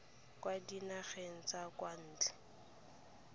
kwa dinageng tsa kwa ntle